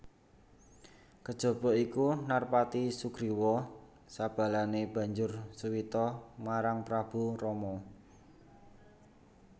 Kejaba iku Narpati Sugriwa sabalané banjur suwita marang Prabu Rama